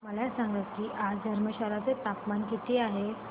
मला सांगा की आज धर्मशाला चे तापमान किती आहे